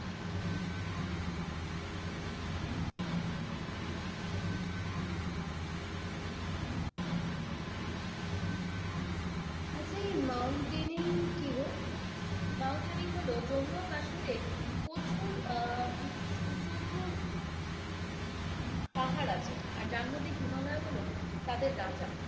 আচ্ছা এই মৌনতাইনেরিং কিগো? মৌনতাইনেরিং হলো জম্মু ও কাশ্মীরে প্রচুর উঁচু উঁচু পাহাড় আছে যার মধ্যে হিমালয় হলো তাদের রাজা,